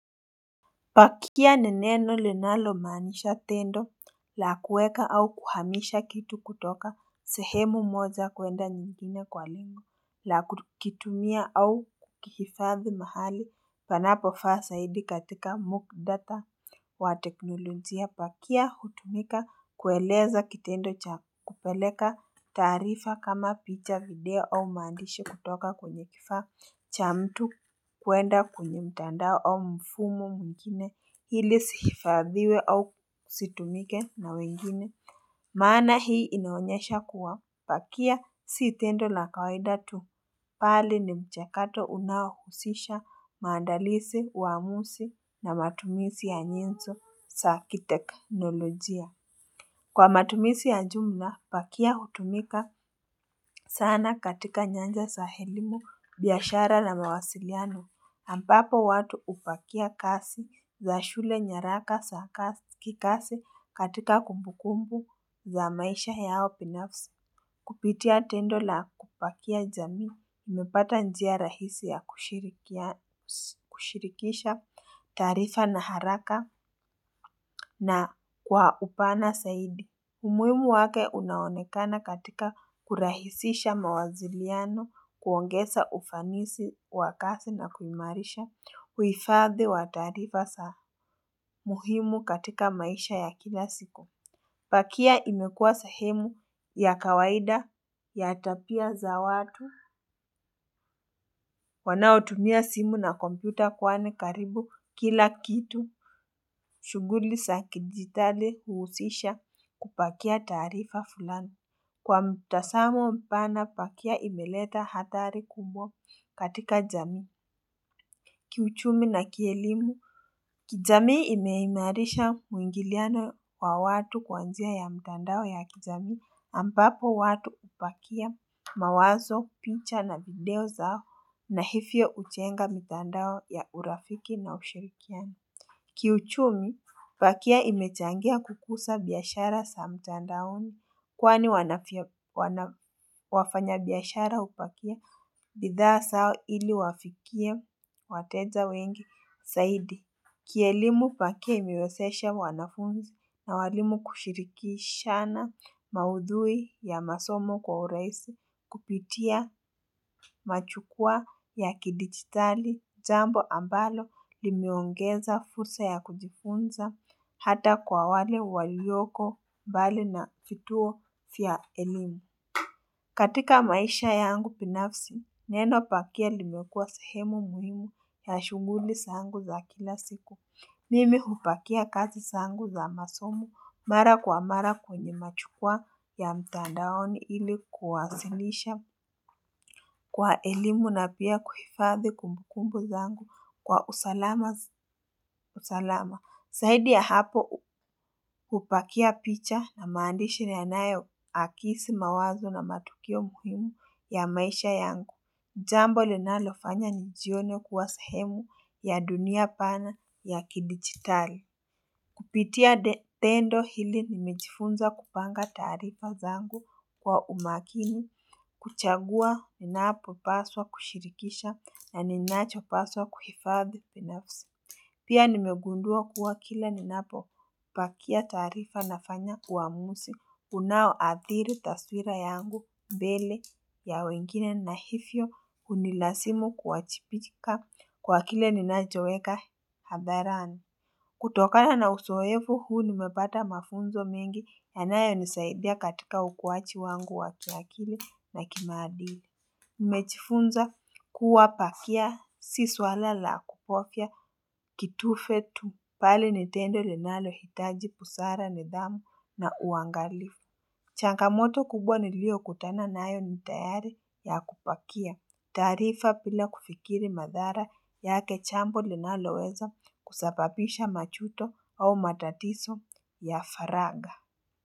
Pakia ni neno linalomaanisha tendo la kuweka au kuhamisha kitu kutoka sehemu moja kwenda nyingine kwa lengo la kukitumia au kukihifadhi mahali panapofaa zaidi katika muktadha wa teknolojia pakia hutumika kueleza kitendo cha kupeleka taarifa kama picha video au maandishi kutoka kwenye kifaa cha mtu kwenda kwenye mtandao au mfumo mwingine ili zihifadhiwe au zitumike na wengine maana hii inaonyesha kuwa pakia si tendo la kawaida tu. Bali ni mchakato unaohusisha maandalizi, uamuzi na matumizi ya nyenzo za kiteknolojia. Kwa matumizi ya jumla pakia hutumika sana katika nyanja za elimu biashara na mawasiliano. Ampapo watu hupakia kazi za shule nyaraka za kikazi katika kumbukumbu za maisha yao binafsi. Kupitia tendo la kupakia jamii imepata njia rahisi ya kushirikisha taarifa na haraka na kwa upana zaidi. Umuhimu wake unaonekana katika kurahisisha mawaziliano kuongeza ufanisi wa kazi na kuimarisha uhifadhi wa taarifa za muhimu katika maisha ya kila siku. Pakia imekuwa sehemu ya kawaida ya tabia za watu. Wanaotumia simu na kompyuta kwani karibu kila kitu. Shughuli za kidijitali huhusisha kupakia taarifa fulani. Kwa mtazamo mpana pakia imeleta athari kubwa katika jamii, kiuchumi na kielimu. Kijamii imeimarisha mwingiliano wa watu kwa njia ya mtandao ya kijamii ambapo watu hupakia mawazo, picha na video zao na hivyo hujenga mitandao ya urafiki na ushirikiano. Kiuchumi, pakia imechangia kukuza biashara za mtandaoni kwani wafanyabiashara hupakia bidhaa zao ili wafikie wateja wengi zaidi. Kielimu pakia imewezesha wanafunzi na waalimu kushirikishana maudhui ya masomo kwa urahisi kupitia majukwaa ya kidijitali jambo ambalo limeongeza fursa ya kujifunza hata kwa wale walioko mbali na vituo vya elimu. Katika maisha yangu binafsi, neno pakia limekuwa sehemu muhimu ya shughuli zangu za kila siku. Mimi hupakia kazi zangu za masomo mara kwa mara kwenye majukwaa ya mtandaoni ili kuwasilisha kwa elimu na pia kuhifadhi kumbukumbu zangu kwa usalama. Zaidi ya hapo hupakia picha na maandishi yanayoakisi mawazo na matukio muhimu ya maisha yangu. Jambo linalofanya nijione kuwa sehemu ya dunia pana ya kidijitali. Kupitia tendo hili nimejifunza kupanga taarifa zangu kwa umakini, kuchagua ninapopaswa kushirikisha na ninachopaswa kuhifadhi binafsi. Pia nimegundua kuwa kila ninapopakia taarifa nafanya uamuzi unaoathiri taswira yangu mbele ya wengine na hivyo hunilazimu kuwajibika kwa kile ninachoweka hadharani. Kutokana na uzoevu huu nimepata mafunzo mengi yanayonisaidia katika ukuaji wangu wa kiakili na kimaadili. Nimejifunza kuwa pakia si swala la kubofya kitufe tu bali ni tendo linalohitaji busara nidhamu na uangalifu changamoto kubwa niliyokutana nayo ni tayari ya kupakia taarifa bila kufikiri madhara yake jambo linaloweza kusababisha majuto au matatizo ya faragha.